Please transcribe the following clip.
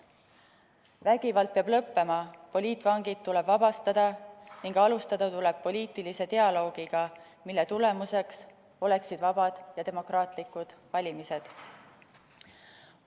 Vägivald peab lõppema, poliitvangid tuleb vabastada ning alustada tuleb poliitilise dialoogiga, mille tulemuseks oleksid vabad ja demokraatlikud valimised.